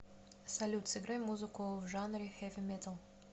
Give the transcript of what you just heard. салют сыграй музыку в жанре хэви метал